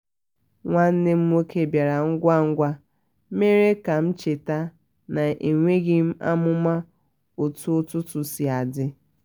nwanne m nwoke bịara ngwagwa mere ka m cheta na enweghị amụma otu ọtụtụ si adi